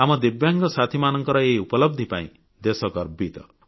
ଆମ ଦିବ୍ୟାଙ୍ଗ ସାଥୀମାନଙ୍କର ଏହି ଉପଲବଧି ପାଇଁ ଦେଶ ଗର୍ବିତ